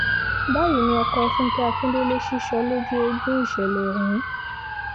báyìí ni ọkọ̀ fúnkẹ́ akíndélé sísọ lójú eegun ìṣẹ̀lẹ̀ ọ̀hún